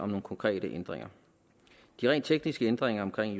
nogle konkrete ændringer de rent tekniske ændringer i